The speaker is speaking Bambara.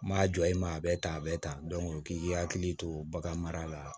N m'a jɔ i ma a bɛ tan a bɛ tan k'i hakili to bagan mara la